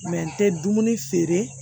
n tɛ dumuni feere